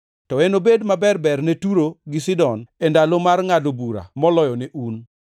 To enobed maber-ber ne Turo gi Sidon e ndalo mar ngʼado bura moloyo ne un.